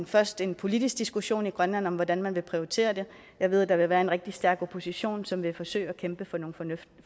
først en politisk diskussion i grønland om hvordan man vil prioritere det jeg ved der vil være en rigtig stærk opposition som vil forsøge at kæmpe for nogle